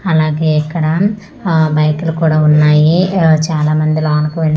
అలాగే ఇక్కడ ఆ బైక్లు కూడా ఉన్నాయి చాన మంది లోనికి వే--